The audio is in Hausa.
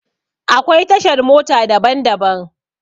Akwai tashar mota daban daban.